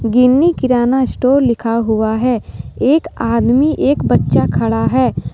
गिन्नी Kirana store लिखा हुआ है एक आदमी एक बच्चा खड़ा है।